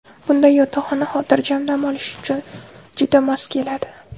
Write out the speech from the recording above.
Bunday yotoqxona xotirjam dam olish uchun juda mos keladi.